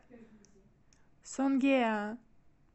сонгеа